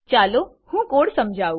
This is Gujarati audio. ચાલો હું કોડ સમજાવું